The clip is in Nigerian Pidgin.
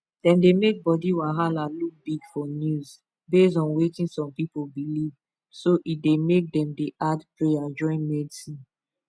dem dey make body wahala look big for news based on wetin some people believe so e dey make dem dey add prayer join medsin